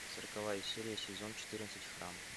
сороковая серия сезон четырнадцать храм